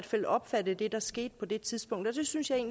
fald opfattet det der skete på det tidspunkt og det synes jeg